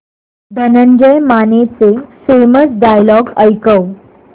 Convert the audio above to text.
धनंजय मानेचे famous dialogue ऐकव